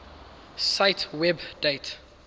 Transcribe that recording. cite web date